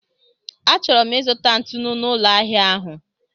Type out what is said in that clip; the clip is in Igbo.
Achọrọ m ịzụta ntụnụ n'ụlọ ahịa ahụ.